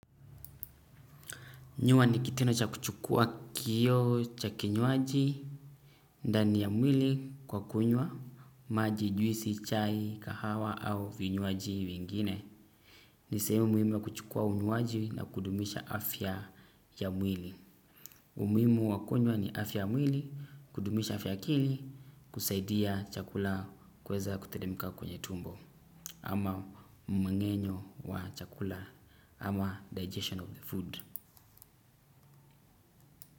Nywa ni kitendo cha kuchukuwa kinywaji ndani ya mwili kwa kunywa maji, juisi, chai, kahawa au vinywaji vingine. Ni sehemu muhimu wa kuchukua unywaji na kudumisha afya ya mwili. Umuhimu wa kunywa ni afya wa mwili, kudumisha afya ya akili, kusaidia chakula kweza kuteremka kwenye tumbo, ama mmeng'enyo wa chakula, ama digestion of the food.